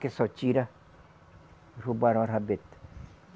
Que só tira, roubaram a rabeta.